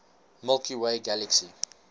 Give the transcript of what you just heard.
milky way galaxy